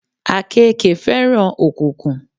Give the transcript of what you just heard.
Àkéèke fẹ́ràn òkùnkùn